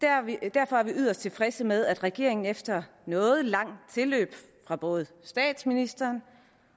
derfor er vi yderst tilfredse med at regeringen efter noget langt tilløb fra både statsministeren